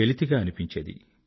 వెలితిగా అనిపించేది